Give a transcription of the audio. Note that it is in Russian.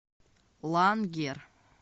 лангер